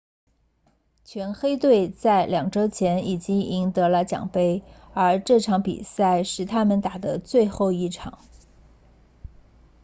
全黑队在两周前已经赢得了奖杯而这场比赛是他们打的最后一场